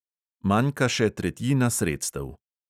Manjka še tretjina sredstev.